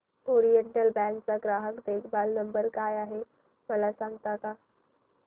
oriental Bank चा ग्राहक देखभाल नंबर काय आहे मला सांगता का